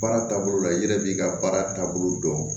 Baara taabolo la i yɛrɛ b'i ka baara taabolo dɔn